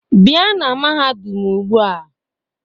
Bia na mahadum ugbua